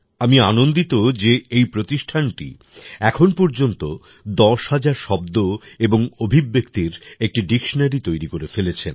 আমি আনন্দিত যে এই প্রতিষ্ঠানটি এখন পর্যন্ত ১০০০০ শব্দ এবং অভিব্যক্তির একটি ডিকশনারি তৈরি করেফেলেছে